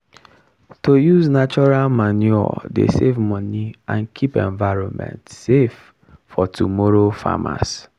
to use natural manure dey save money and keep environment safe for tomorrow farmers.